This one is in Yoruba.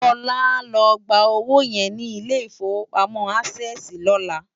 Lola á lò gbá ówó yèn ni Ilé Ifówópámò ásèsi lòlá